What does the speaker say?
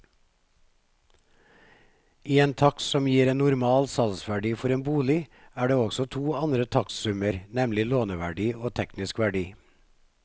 I en takst som gir en normal salgsverdi for en bolig, er det også to andre takstsummer, nemlig låneverdi og teknisk verdi.